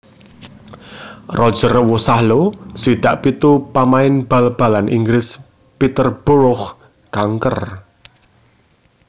Roger Wosahlo swidak pitu pamain bal balan Inggris Peterborough kanker